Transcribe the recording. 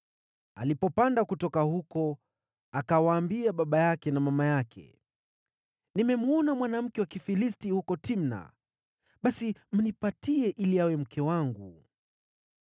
Alipopanda kutoka huko, akawaambia baba yake na mama yake, “Nimemwona mwanamke wa Kifilisti huko Timna; basi mnipe ili awe mke wangu.”